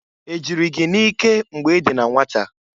E jịrị gị n'ike mgbe i dị na nwata?